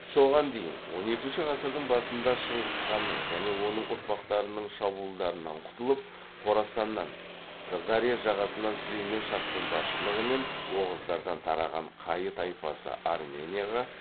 соған дейін он екінші ғасырдың басында шыңғысханның және оның ұрпақтарының шабуылдарынан құтылып хорасаннан сырдария жағасынан сүлеймен шахтың басшылығымен оғыздардан тараған қайы тайпасы арменияға